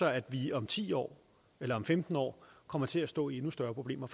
at vi om ti år eller om femten år kommer til at stå i endnu større problemer